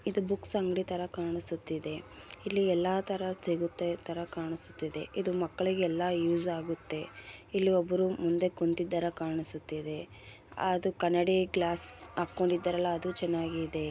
ಇದು ಬುಕ್ಸ್ ಅಂಗಡಿ ತರ ಕಾಣಿಸುತ್ತಿದೆ ಇಲ್ಲಿ ಎಲ್ಲಾ ತರದ ಸಿಗುತ್ತೆ ತರ ಕಾಣಿಸುತ್ತಿದೆ ಇದು ಮಕ್ಕಳಿಗೆ ಎಲ್ಲಾ ಯುಸ್ ಆಗುತ್ತೆ ಇಲ್ಲಿ ಒಬ್ಬರು ಮುಂದೆ ಕುಂತಿದರ ಕಾಣಿಸುತ್ತಿದೆ ಅದು ಕನ್ನಡಿ ಗ್ಲಾಸ್ ಹಾ ಕ್ಕೊಂಡಿದ್ದಾರಲ್ಲಾ ಅದು ಚೆನ್ನಾಗಿ ಇದೆ.